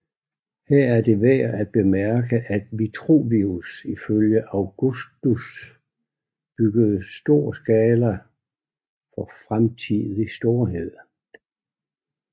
Her er det værd at bemærke at Vitruvius følge at Augustud byggede i stor skala for fremtidig storhed